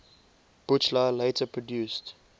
buchla later produced